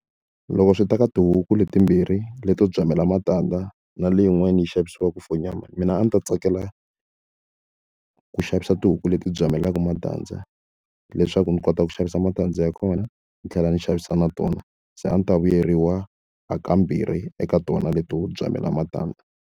Loko swi ta ka tihuku leti timbirhi leto byamela matandza na leyin'wani yi xavisiwaka for nyama mina a ndzi ta tsakela ku xavisa tihuku leti byamelaka matandza leswaku ndzi kota ku xavisa matandza ya kona ndzi tlhela ndzi xavisa na tona se a ndzi ta vuyeriwa a ka mbirhi eka tona leto byamela matandza.